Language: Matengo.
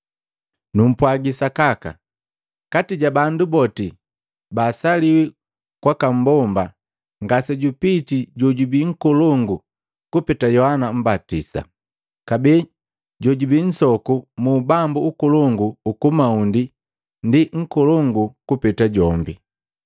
Numpwagi sakaka, kati ja bandu boti baasaliwi kwaka mbomba, ngasejupitii jojubii nkolongu kupeta Yohana Mmbatisa. Kabee, jojubii nsoku mu ubambu ukolongu ukumaundi, ndi nkolongu kupeta jombi.